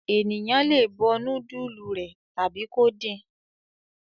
Ènìyàn le bọ núdúlù rẹ̀ tàbí kó din.